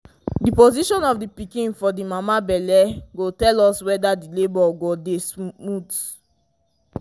the position of the pikin for the mama belle go tell us weder the labour go dy dy smooth